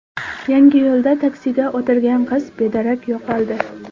Yangiyo‘lda taksiga o‘tirgan qiz bedarak yo‘qoldi.